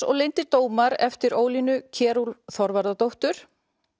og leyndir dómar eftir Ólínu Kjerúlf Þorvarðardóttur